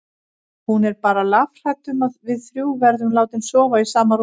Hún er bara lafhrædd um að við þrjú verðum látin sofa í sama rúmi.